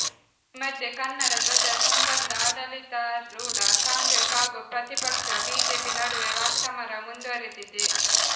ಈ ಮಧ್ಯೆ ಕನ್ನಡಧ್ವಜ ಸಂಬಂಧ ಆಡಳಿತಾರೂಢ ಕಾಂಗ್ರೆಸ್ ಹಾಗೂ ಪ್ರತಿಪಕ್ಷ ಬಿಜೆಪಿ ನಡುವೆ ವಾಕ್ಸಮರ ಮುಂದುವರಿದಿದೆ